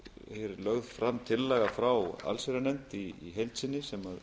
því lögð fram tillaga frá allsherjarnefnd í heild sinni sem